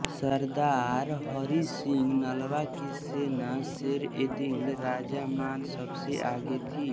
सरदार हरि सिंह नलवा की सेना शेरएदिल रजामान सबसे आगे थी